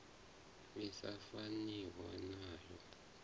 i sa faniho na yo